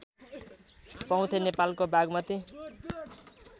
चौथे नेपालको बागमती